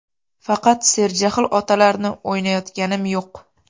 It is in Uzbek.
Faqat serjahl otalarni o‘ynayotganim yo‘q.